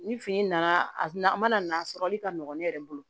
Ni fini nana a na na a sɔrɔli ka nɔgɔn ne yɛrɛ bolo